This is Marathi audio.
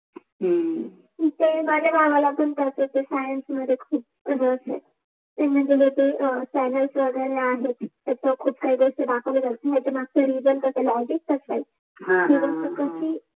हम्म माझ्या माम पण सायन्स मध्ये खूप इंटरेस आहे त्या मध्ये खूप काही दाखवते ते मनजे चॅनल्स वगेरे आहेत तिथे मनजे खुप सारे असे दाखवले जाते ह ह